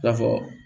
I n'a fɔ